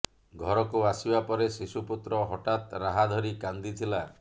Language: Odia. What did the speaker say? ଘରକୁ ଆସିବା ପରେ ଶିଶୁ ପୁତ୍ର ହଠାତ୍ ରାହା ଧରି କାନ୍ଦିଥିଲା